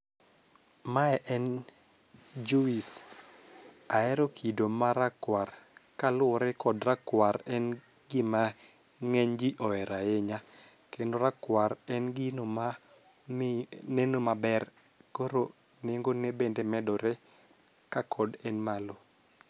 Mae en juice. Ahero kido marakwar. Kaluwore kod rakwar en gima ng'eny ji ohero ahinya. Kendo rakwar en gino ma neno maber, koro nengo ne bende medore ka kod en malo.